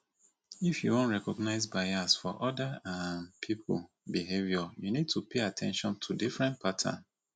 if you wan recognize bias for oda um pipo behavior you need to pay at ten tion to different pattern